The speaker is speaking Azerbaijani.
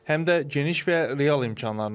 Həm də geniş və real imkanlarla.